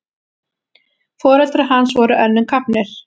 Foreldrar hans voru önnum kafnir.